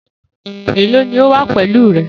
Elo ni o wa pẹlu rẹ?